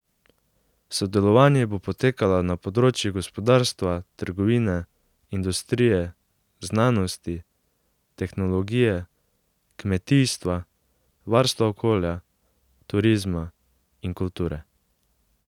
Sodelovanje bo potekalo na področjih gospodarstva, trgovine, industrije, znanosti, tehnologije, kmetijstva, varstva okolja, turizma in kulture.